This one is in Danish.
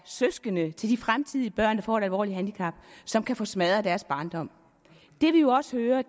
søskende til de fremtidige børn der får et alvorligt handicap som kan få smadret deres barndom det vi jo også hører